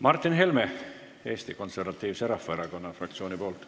Martin Helme Eesti Konservatiivse Rahvaerakonna fraktsiooni nimel.